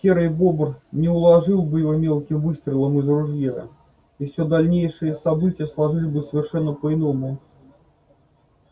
серый бобр не уложил бы его мелким выстрелом из ружья и всё дальнейшие события сложились бы совершенно по иному